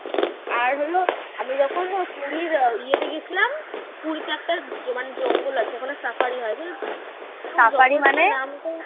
আর হল আমি যখন ইয়ে তে গেছিলাম পুরিতে একটা মানে জঙ্গল আছে ওখানে safari হয় বুঝেছিস